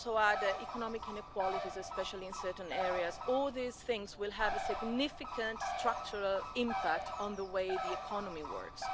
would also add economic inequalities, especially in certain areas. All of these factors will have a significant structural impact on the way the economy works.